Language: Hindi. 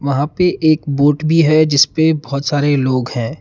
यहां पे एक बोट भी है जिसपे बहुत सारे लोग हैं।